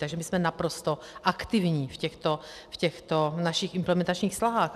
Takže my jsme naprosto aktivní v těchto našich implementačních snahách.